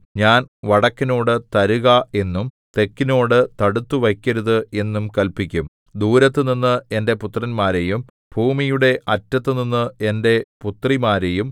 ഞാൻ വടക്കിനോട് തരുക എന്നും തെക്കിനോട് തടുത്തുവയ്ക്കരുത് എന്നും കല്പിക്കും ദൂരത്തുനിന്ന് എന്റെ പുത്രന്മാരെയും ഭൂമിയുടെ അറ്റത്തുനിന്ന് എന്റെ പുത്രിമാരെയും